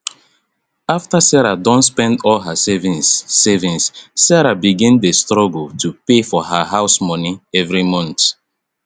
after she don spend all her savings savings sarah begin dey struggle to pay her house moni every month